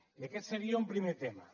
i aquest seria un primer tema